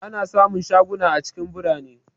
Ana sa mun shaguna a cikin birane